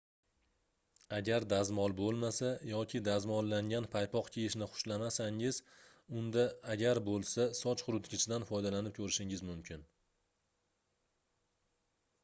agar dazmol boʻlmasa yoki dazmollangan paypoq kiyishni xushlamasangiz unda agar boʻlsa soch quritgichdan foydalanib koʻrishingiz mumkin